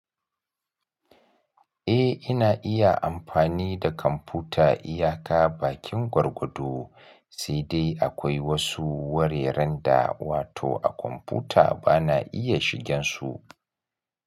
Eh, ina iya amfani da kwamfuta iyaka bakin gwargwado. Sai dai akwai wasu wareren da wato a kwamfuta bana iya shigen su.